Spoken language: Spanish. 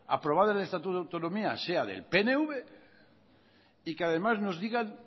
aprobada en el estatuto de autonomía sea del pnv y que además nos digan